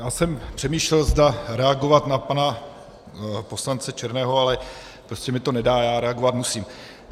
Já jsem přemýšlel, zda reagovat na pana poslance Černého, ale prostě mi to nedá, já reagovat musím.